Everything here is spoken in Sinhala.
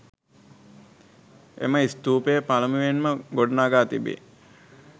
එම ස්ථූපය පළමුවෙන්ම ගොඩ නඟා තිබේ.